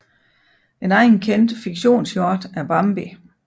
En anden kendt fiktionshjort er Bambi